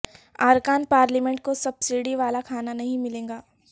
ارکان پارلیمنٹ کو سبسڈی والا کھانا نہیں ملے گا